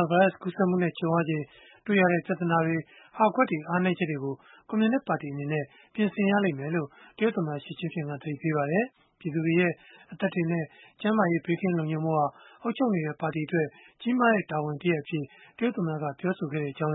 ာဗိုင်းရပ်စ် ကူးစက်မှုနဲ့ ကြုံုရချိန် တွေ့ကြုံရတဲ့ ပြဿနာတွေ၊ ဟာကွက်တွေ၊ အားနည်းချက်တွေကို ကွန်မြူနစ်ပါတီ အနေနဲ့ ပြင်ဆင်ရလိမ့်မယ်လို့ တရုတ်သမ္မတ Xi Jinping က သတိပေးလိုက်ပါတယ်။ ပြည်သူတွေရဲ့ အသက်တွေနဲ့ ကျန်းမာရေး ဘေးကင်း လုံခြုံဖို့ဟာ အုပ်ချုပ်နေတဲ့ ပါတီအတွက် ကြီးမားတဲ့ တာဝန်တရပ်အဖြစ် တရုတ်သမ္မတက ပြောဆိုခဲ့ကြာင်း